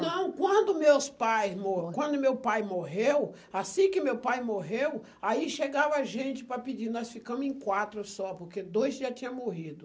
Não, quando meus pais mo quando meu pai morreu, assim que meu pai morreu, aí chegava gente para pedir, nós ficamos em quatro só, porque dois já tinha morrido.